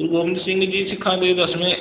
ਗੁਰੂ ਗੋਬਿੰਦ ਸਿੰਘ ਸਿੱਖਾਂ ਦੇ ਦਸਵੇਂ